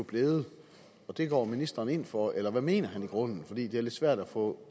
blevet og det går ministeren ind for eller hvad mener han i grunden fordi det er lidt svært at få